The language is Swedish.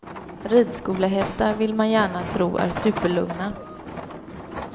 Ridskolehästar vill man gärna tro är superlugna.